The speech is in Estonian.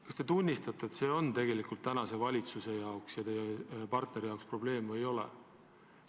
Kas te tunnistate, et see on praeguse valitsuse jaoks ja teie koalitsioonipartneri jaoks probleem?